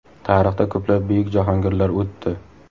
Tarixda ko‘plab buyuk jahongirlar o‘tdi.